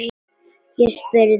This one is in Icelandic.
Ég spurði.